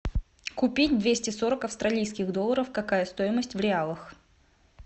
купить двести сорок австралийских долларов какая стоимость в реалах